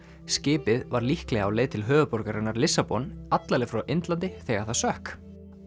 skipið var líklega á leið til höfuðborgarinnar Lissabon alla leið frá Indlandi þegar það sökk